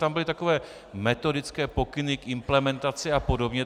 Tam byly takové metodické pokyny k implementaci a podobně.